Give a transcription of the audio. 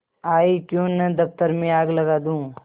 आयीक्यों न दफ्तर में आग लगा दूँ